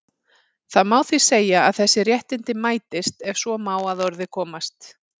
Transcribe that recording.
Það má því segja að þessi réttindi mætist, ef svo má að orði komast.